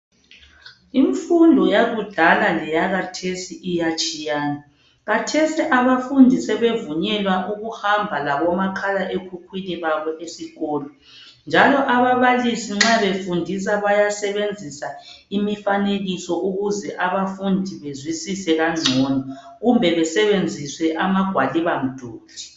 Imfundo yakudala leya kathesi iyatshiyana kathesi abafundi sebevunyelwa ukuhamba labo makhalekhukhwini babo esikolo njalo ababalisi nxa befundisa bayasebenzisa imifanekiso ukuze abafundi bezwisise kangcono kumbe besebenzise amagwaliba umduli.